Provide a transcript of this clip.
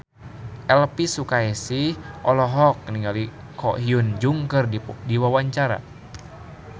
Elvy Sukaesih olohok ningali Ko Hyun Jung keur diwawancara